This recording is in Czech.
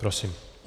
Prosím.